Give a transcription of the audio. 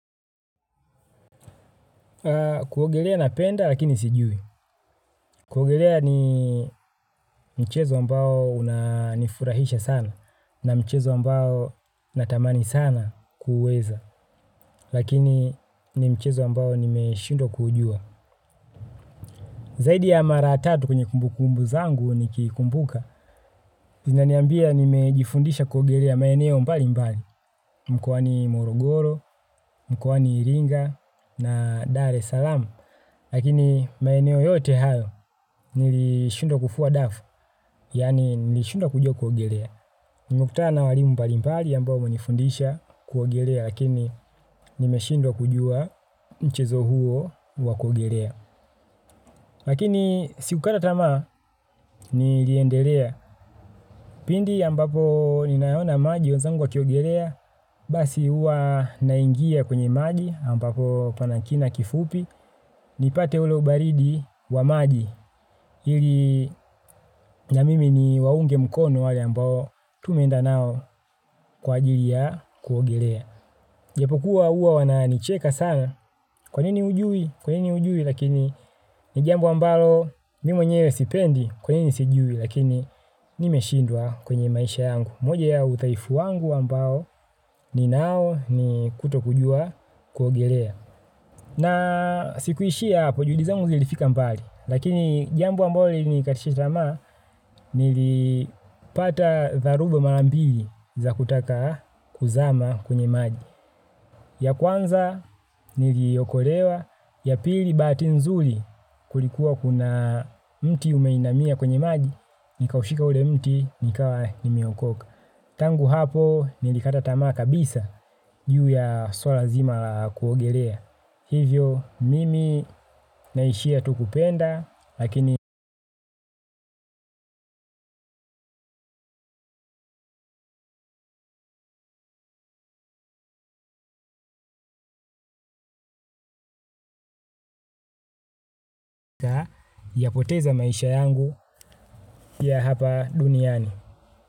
Kuogelea napenda lakini sijui. Kuogelea ni mchezo ambao unanifurahisha sana na mchezo ambao natamani sana kuweza lakini ni mchezo ambao nimeshindwa kuujua. Zaidi ya maratatu kwenye kumbukumbu zangu niki kumbuka, zina niambia nimejifundisha kuogelea maeneo mpali mpali, mkwani morogoro, mkwani iringa na dare salamu, lakini maeneo yote hayo nilishundwa kufua dafu, yani nilishundwa kujua kuogelea. Nmekutana na walimu mbalimbali ambao wamenifundisha kuogelea lakini nimeshindwa kujua nchezo huo wa kuogelea. Lakini si kukata tamaa niliendelea. Pindi ambapo ninaona maji wenzangu wakiogelea. Basi huwa naingia kwenye maji ampapo pana kina kifupi. Nipate ule ubaridi wa maji. Ili na mimi niwaunge mkono wale ambao tumeenda nao kwa ajili ya kuogelea. Huwa hua wanicheka sana kwa nini ujui, kwa nini ujui lakini ni jambo ambalo mi mwenyewe sipendi kwa nini sijui lakini nimeshindwa kwenye maisha yangu. Moja ya uthaifu wangu ambao ninao ni kutokujua kuogelea na sikuishia hapo juhudi zangu zilifika mbali lakini jambo ambalo lilinikatisha tamaa nilipata dharubo marambili za kutaka kuzama kwenye maji. Ya kwanza niliokolewa, ya pili baati nzuli kulikuwa kuna mti umeinamia kwenye maji, nikaushika ule mti nikawa nimeokoka. Tangu hapo nilikata tamaa kabisa, juu ya swala zima la kuogelea. Hivyo mimi naishia tu kupenda, lakini yapoteza maisha yangu ya hapa duniani.